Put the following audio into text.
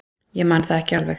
Ég man það ekki alveg.